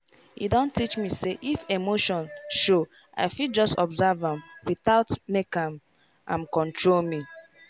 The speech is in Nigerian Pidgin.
e don teach me say if emotion show i fit just observe am without make am am control me.